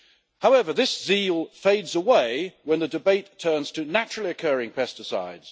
However, this zeal fades away when the debate turns to naturally occurring pesticides.